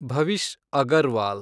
Bhavish Agarwal